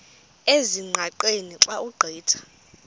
ezingqaqeni xa ugqitha